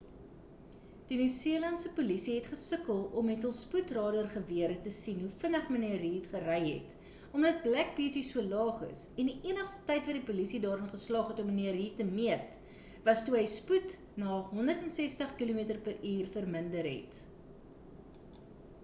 die nieu-seelandse polisie het gesukkel om met hul spoedradar-gewere te sien hoe vinnig mnr reid gery het omdat black beauty so laag is en die enigste tyd wat die polisie daarin geslaag het om mnr reid te meet was toe hy spoed na 160 km/h verminder het